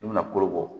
I bɛna koro bɔ